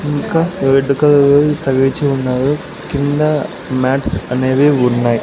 ఇంకా red colour తగిలిచ్చి ఉన్నాయి కిందా మ్యాట్స్ అనేవి ఉన్నాయ్.